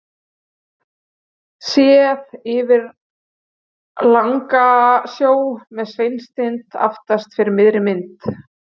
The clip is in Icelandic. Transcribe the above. séð yfir langasjó með sveinstind aftast fyrir miðri mynd